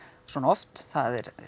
svona oft það er